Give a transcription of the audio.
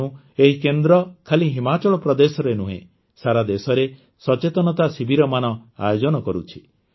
ତେଣୁ ଏହି କେନ୍ଦ୍ର ଖାଲି ହିମାଚଳ ପ୍ରଦେଶରେ ନୁହେଁ ସାରା ଦେଶରେ ସଚେତନତା ଶିବିରମାନ ଆୟୋଜନ କରୁଛି